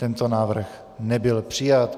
Tento návrh nebyl přijat.